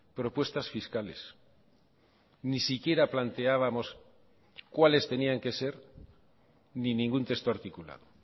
propuestas fiscales ni siquiera planteábamos cuáles tenían que ser ni ningún texto articulado